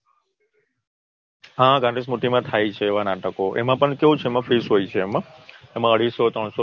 હા વાદીસમતિમાં થાય છે એવા નાટકો એમાં પણ કેવું હોય છે Fees હોય છે એમાં અડિસો નસો